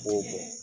N b'o fɔ